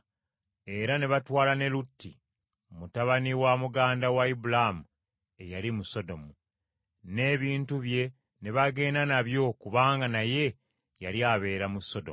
Era ne batwala ne Lutti, mutabani wa muganda wa Ibulaamu eyali mu Sodomu, n’ebintu bye ne bagenda nabyo kubanga naye yali abeera mu Sodomu.